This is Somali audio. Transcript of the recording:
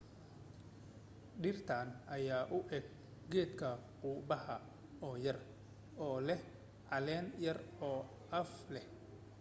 dhirtan ayaa u eg geedka qumbaha oo yer oo leh caleen yar oo af leh